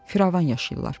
Firavan yaşayırlar.